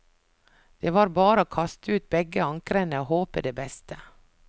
Det var bare å kaste ut begge ankrene og håpe det beste.